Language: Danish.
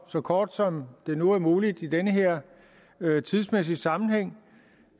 så kort som det nu er muligt i den her tidsmæssige sammenhæng